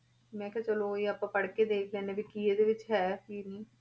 ਮੈਂ ਕਿਹਾ ਚਲੋ ਇਹ ਆਪਾਂ ਪੜ੍ਹਕੇ ਦੇਖ ਲੈਂਦੇ ਹਾਂ ਵੀ ਕੀ ਇਹਦੇ ਵਿੱਚ ਹੈ, ਕੀ ਨਹੀਂ।